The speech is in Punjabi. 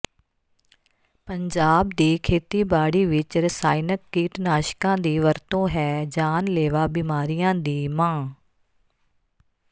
ਪੰਜਾਬ ਦੀ ਖੇਤੀਬਾੜੀ ਵਿੱਚ ਰਸਾਇਣਕ ਕੀਟਨਾਸ਼ਕਾਂ ਦੀ ਵਰਤੋਂ ਹੈ ਜਾਨਲੇਵਾ ਬਿਮਾਰੀਆਂ ਦੀ ਮਾਂ